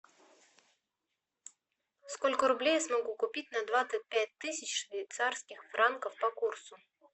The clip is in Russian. сколько рублей я смогу купить на двадцать пять тысяч швейцарских франков по курсу